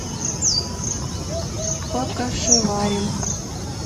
покашеварим